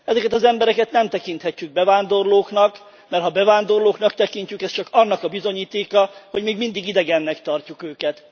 Ezeket az embereket nem tekinthetjük bevándorlóknak, mert ha bevándorlóknak tekintjük, ez csak annak a bizonyítéka, hogy még mindig idegennek tartjuk őket.